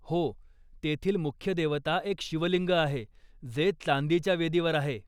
हो, तेथील मुख्य देवता एक शिवलिंग आहे जे चांदीच्या वेदीवर आहे.